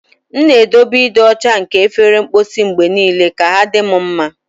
M na-edobe ịdị ọcha nke efere mposi mgbe niile ka ahụ dị m mma.